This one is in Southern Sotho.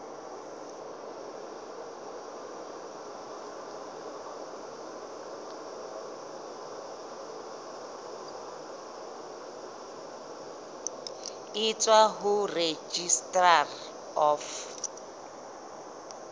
e tswang ho registrar of